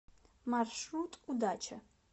маршрут удача